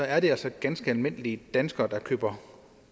er det altså ganske almindelige danskere der køber